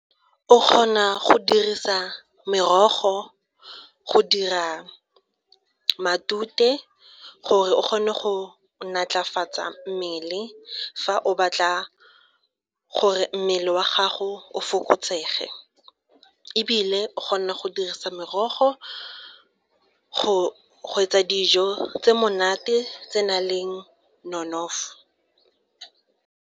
O kgona go dirisa merogo go dira matute gore o kgone go natlafatsa mmele fa o batla gore mmele wa gago o fokotsege, ebile o kgona go dirisa merogo go etsa dijo tse monate tse nang le nonofo.